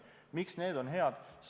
Miks need on head?